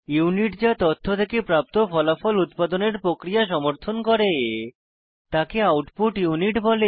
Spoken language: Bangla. ইউনিট যা তথ্য থেকে প্রাপ্ত ফলাফলের উৎপাদনের প্রক্রিয়া সমর্থন করে তাকে আউটপুট ইউনিট বলে